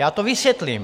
Já to vysvětlím.